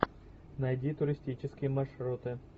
найди туристические маршруты